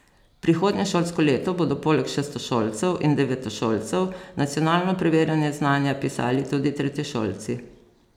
Prihodnje šolsko leto bodo poleg šestošolcev in devetošolcev nacionalno preverjanje znanja pisali tudi tretješolci.